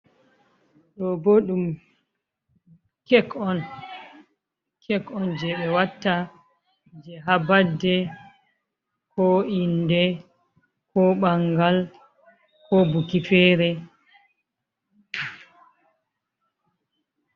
Ɗo bo ɗum kek on, je ɓe watta je ha badey, ko inde, ko ɓangal ko buki fere.